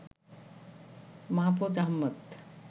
Mahfuz Ahmed